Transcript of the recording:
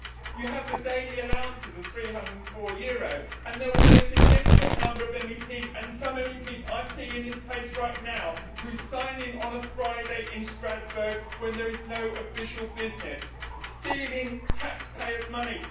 You have the daily allowances of EUR 304 and there will be a significant number of MEPs and some MEPs I see in this place right now who sign in on a Friday in Strasbourg when there is no official business, stealing taxpayers' money.